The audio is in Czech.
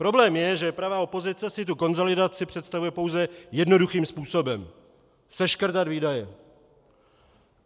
Problém je, že pravá opozice si tu konsolidaci představuje pouze jednoduchým způsobem - seškrtat výdaje.